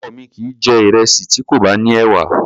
Ọkọ mi kìí jẹ̀ ìrẹsì tí kò ní ẹ̀wà.